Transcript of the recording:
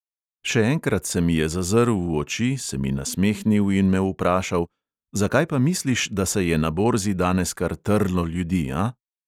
Še enkrat se mi je zazrl v oči, se mi nasmehnil in me vprašal: "zakaj pa misliš, da se je na borzi danes kar trlo ljudi, a?"